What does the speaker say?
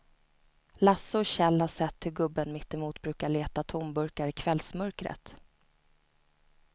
Lasse och Kjell har sett hur gubben mittemot brukar leta tomburkar i kvällsmörkret.